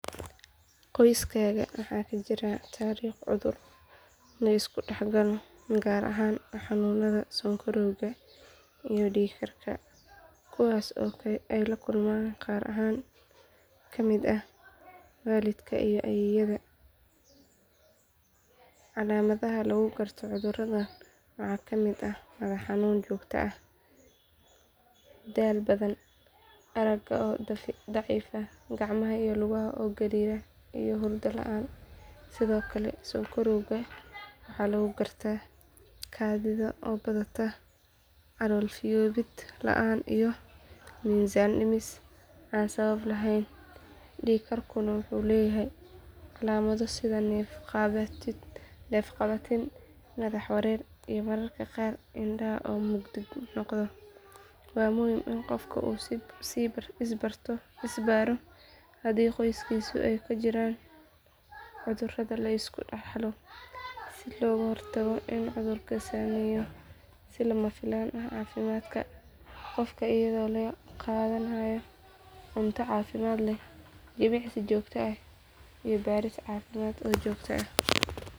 Qoyskayga waxaa ka jiray taariikh cudur la iska dhaxlo gaar ahaan xanuunada sonkorowga iyo dhiig karka kuwaas oo ay la kulmeen qaar ka mid ah waalidka iyo ayeeyada calaamadaha lagu garto cuduradan waxaa ka mid ah madax xanuun joogto ah daal badan aragga oo daciifa gacmaha iyo lugaha oo gariira iyo hurdo la’aan sidoo kale sonkorowga waxaa lagu gartaa kaadida oo badata calool fiyoobid la’aan iyo miisaan dhimis aan sabab lahayn dhiig karkuna wuxuu leeyahay calaamado sida neef qabatin madax wareer iyo mararka qaar indhaha oo mugdi noqda waa muhiim in qofka uu is baaro haddii qoyskiisa ay ka jiraan cudurada la iska dhaxlo si looga hortago in cudurku saameeyo si lama filaan ah caafimaadka qofka iyadoo la qaadanayo cunto caafimaad leh jimicsi joogto ah iyo baaris caafimaad oo joogto ah.